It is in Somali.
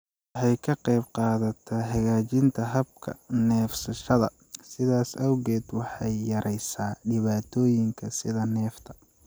Waxay ka qaybqaadataa hagaajinta habka neefsashada, sidaas awgeed waxay yareysaa dhibaatooyinka sida neefta.